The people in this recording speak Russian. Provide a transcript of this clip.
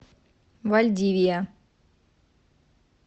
вальдивия